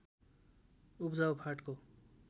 उब्जाउ फाँटको